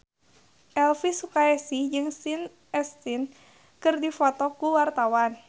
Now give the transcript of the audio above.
Elvi Sukaesih jeung Sean Astin keur dipoto ku wartawan